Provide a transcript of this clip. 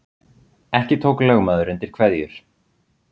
Ekki tók lögmaður undir kveðjur